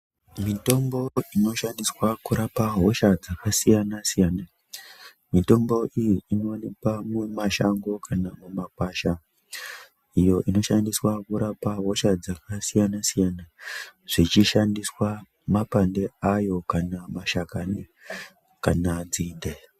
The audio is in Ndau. Mitombo inoshandiswa kurapa hosha dzakasiyana-siyana. Mitombo iyi inowanikwa mumashango kana mumakwasha, iyo inoshandiswa kurapa hosha dzakasiyana-siyana zvichishandiswa mapande ayo kana mashakani kana nzinde.